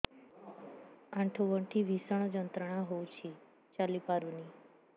ଆଣ୍ଠୁ ଗଣ୍ଠି ଭିଷଣ ଯନ୍ତ୍ରଣା ହଉଛି ଚାଲି ପାରୁନି